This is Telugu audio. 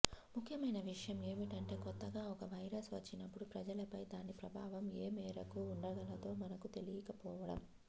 ముఖ్యమైన విషయం ఏమిటంటే కొత్తగా ఒక వైరస్ వచ్చినప్పుడు ప్రజలపై దాని ప్రభావం ఏమేరకు ఉండగలదో మనకు తెలీకపోవడం